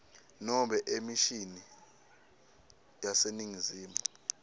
nobe emishini yaseningizimu